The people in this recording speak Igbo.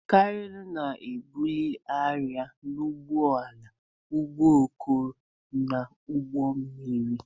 Kranu na-ebuli arịa n'ụgbọala, ụgbọ oloko na ụgbọ mmiri.